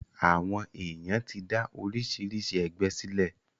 Àwọn èyàn ti dá oríṣiríṣi ẹgbẹ sílẹ̀.